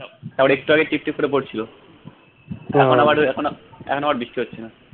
পরে একটু আগে টিপটিপ করে পড়ছিলো এখন আবার এখন এখন আবার বৃষ্টি হচ্ছেনা